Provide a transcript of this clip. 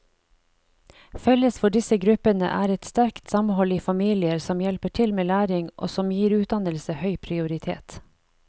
Felles for disse gruppene er et sterkt samhold i familier som hjelper til med læring og som gir utdannelse høy prioritet.